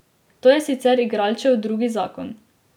To je sicer igralčev drugi zakon.